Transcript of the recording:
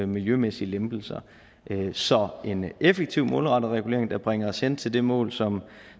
miljømæssige lempelser så en effektiv og målrettet regulering der bringer os hen til det mål som